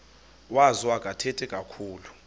wazo akathethi kakhulu